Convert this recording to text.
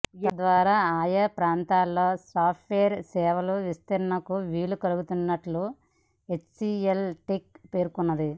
తద్వారా ఆయా ప్రాంతాలలో సాఫ్ట్వేర్ సేవల విస్తరణకు వీలు కలగనున్నట్లు హెచ్సీఎల్ టెక్ పేర్కొంది